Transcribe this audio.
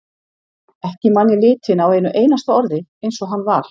Ekki man ég litinn á einu einasta orði eins og hann var.